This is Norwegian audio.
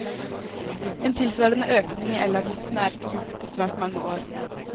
En tilsvarende økning i elavgiften er ikke gjort på svært mange år.